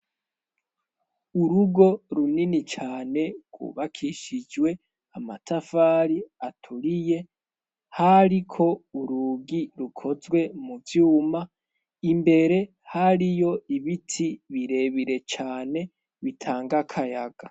Urugo runini cane kubakishijwe amatafari aturiye hari ko urugi rukozwe mu vyuma imbere hari yo ibiti birebire cane bitanga akayaga.